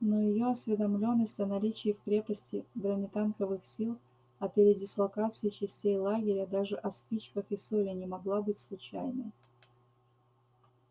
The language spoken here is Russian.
но её осведомлённость о наличии в крепости бронетанковых сил о передислокации частей лагеря даже о спичках и соли не могла быть случайной